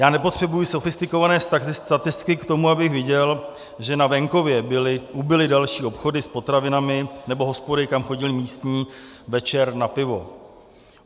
Já nepotřebuji sofistikované statistiky k tomu, abych viděl, že na venkově ubyly další obchody s potravinami nebo hospody, kam chodili místní večer na pivo.